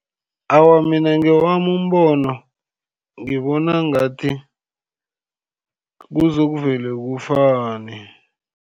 Awa, mina ngewami umbono, ngibona ngathi kuzokuvele kufane.